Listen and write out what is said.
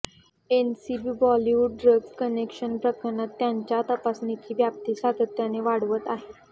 NCB Bollywood drugs connection प्रकरणात त्यांच्या तपासणीची व्याप्ती सातत्याने वाढवत आहे